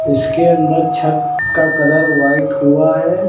इसके अंदर छत का कलर व्हाइट हुआ है।